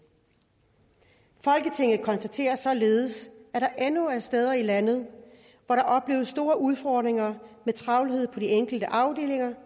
folketinget konstaterer således at der endnu er steder i landet hvor der opleves store udfordringer med travlhed på de enkelte afdelinger